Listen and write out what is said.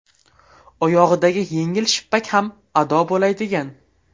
Oyog‘idagi yengil shippak ham ado bo‘lay degan.